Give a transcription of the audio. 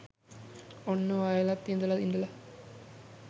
ඔන්න වයලත් ඉඳලා ඉඳලා